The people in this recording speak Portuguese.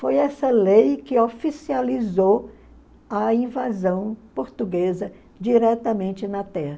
Foi essa lei que oficializou a invasão portuguesa diretamente na terra.